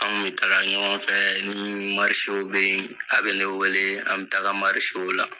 An kun bɛ taga ɲɔgɔn fɛ ni bɛ yen a bɛ ne wele an bɛ taga la.